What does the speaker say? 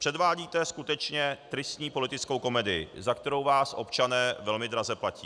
Předvádíte skutečně tristní politickou komedii, za kterou vás občané velmi draze platí.